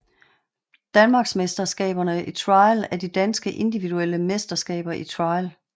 Danmarksmesterskaberne i Trial er de danske individuelle mesterskaber i trial